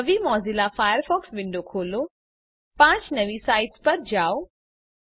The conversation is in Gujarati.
નવી મોઝિલા ફાયરફોક્સ વિન્ડો ખોલો પાંચ નવી સાઇટ્સ પર જાઓ